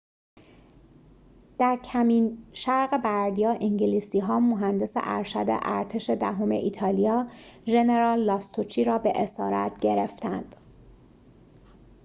در کمین شرق بردیا انگلیسی‌ها مهندس ارشد ارتش دهم ایتالیا ژنرال لاستوچی را به اسارت گرفتند